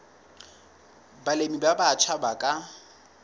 balemi ba batjha ba ka